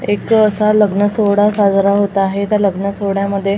एक अ असा लग्न सोहळा साजरा होत आहे त्या लग्न सोहड्यामध्ये म--